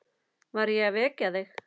Var ég að vekja þig?